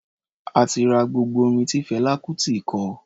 A ti ra gbogbo orin tí Fẹlá Kutì kọ.